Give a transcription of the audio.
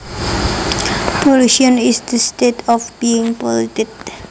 Pollution is the state of being polluted